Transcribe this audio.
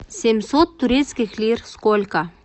семьсот турецких лир сколько